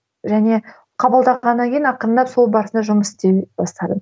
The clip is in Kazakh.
және қабылдағаннан кейін ақырындап сол барысында жұмыс істей бастадым